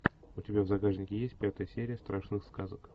у тебя в загашнике есть пятая серия страшных сказок